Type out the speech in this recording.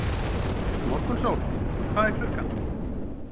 Morgunsól, hvað er klukkan?